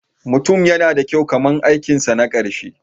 Mutum yana da kyau kamar aikinsa na ƙarshe.